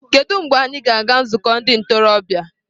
Kedu mgbe anyị ga-aga nzukọ ndị ntorobịa?